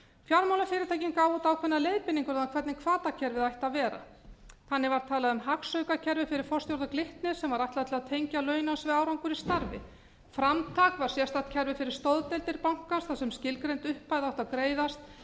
fjármálafyrirtækin gáfu út ákveðnar leiðbeiningar um það hvernig hvatakerfið ætti að vera þannig var talað um hagstjórnarkerfið fyrir forstjóra glitnis sem var ætlað að tengja launaskrárárangur í starfi framtak var sérstakt kerfi fyrir stoðdeildir banka þar sem skilgreind upphæð átti að greiðast